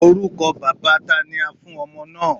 Orúkọ bàbáa tani a fún ọmọ náà?